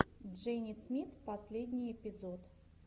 джени смит последний эпизод